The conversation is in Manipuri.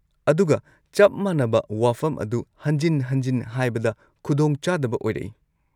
ꯑꯗꯨꯒ ꯆꯞ ꯃꯥꯟꯅꯕ ꯋꯥꯐꯝ ꯑꯗꯨ ꯍꯟꯖꯤꯟ-ꯍꯟꯖꯤꯟ ꯍꯥꯏꯕꯗ ꯈꯨꯗꯣꯡ ꯆꯥꯗꯕ ꯑꯣꯏꯔꯛꯏ꯫